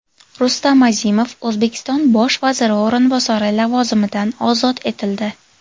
Rustam Azimov O‘zbekiston bosh vaziri o‘rinbosari lavozimidan ozod etildi .